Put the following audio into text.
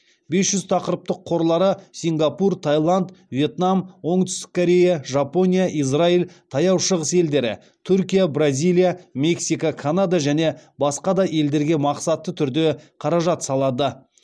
бес жүз тақырыптық қорлары сингапур таиланд вьетнам оңтүстік корея жапония израиль таяу шығыс елдері түркия бразилия мексика канада және басқа да елдерге мақсатты түрде қаражат салады